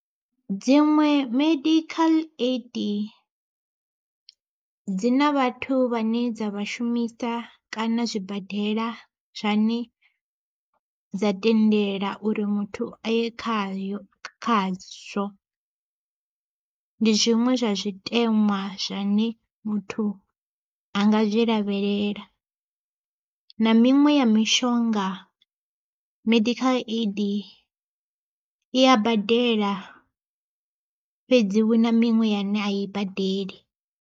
Dziṅwe medical aid, dzina vhathu vha ne dza vhashumisa kana zwibadela zwane dza tendela uri muthu aye khayo khazwo. Ndi zwiṅwe zwa zwitenwa zwine muthu anga zwi lavhelela na miṅwe ya mishonga medical aid i a badela fhedzi huna miṅwe yane a i badeli.